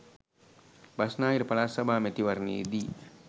බස්නාහිර පළාත් සභා මැතිවරණයේදී